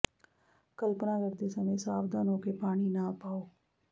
ਕਲਪਨਾ ਕਰਦੇ ਸਮੇਂ ਸਾਵਧਾਨ ਹੋ ਕੇ ਪਾਣੀ ਨਾ ਪਾਓ